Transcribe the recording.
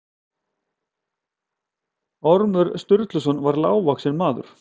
Ormur Sturluson var lágvaxinn maður.